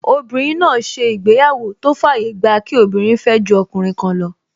Obìnrin náà ṣe ìgbéyàwó tó fàyè gba kí obìnrin fẹ́ ju ọkùnrin kan lọ